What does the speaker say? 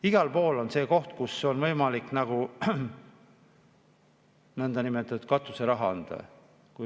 Igal pool on see koht, kus on võimalik nõndanimetatud katuseraha anda.